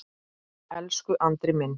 Elsku Andri minn.